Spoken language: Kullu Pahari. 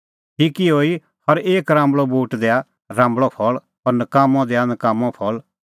ठीक इहअ ई हर एक राम्बल़अ बूट दैआ राम्बल़अ फल़ और नकाम्मअ दैआ नकाम्मअ फल़